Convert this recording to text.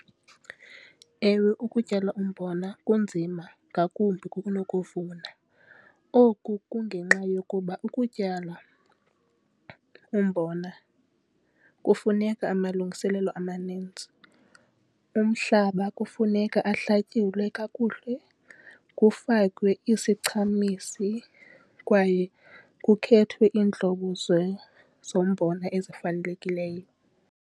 Ewe, ukutyala umbona kunzima ngakumbi kunokuvuna. Oku kungenxa yokuba ukutyala umbona kufuneka amalungiselelo amaninzi. Umhlaba kufuneka ahlakulwe kakuhle, kufakwe isichumisi kwaye kukhethwe iintlobo zombona ezifanelekileyo.